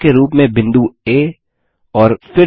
केंद्र के रूप में बिंदु आ